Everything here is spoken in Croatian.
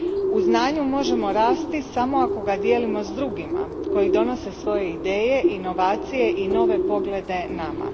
U znanju možemo rasti samo ako ga dijelimo s drugima koji donose svoje ideje, inovacije i nove poglede nama.